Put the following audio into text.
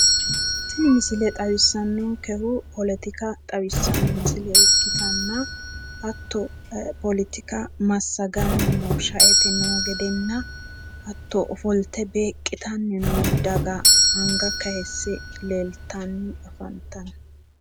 Tini misile xawissannonkehu poletika xawissa misile ikkitanna hatto poletika massaganni noohu shaete noo gedenna hatto ofolte beeqitanni noo daga anga kayisse leeltanni afantanno